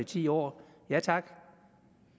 ti år ja tak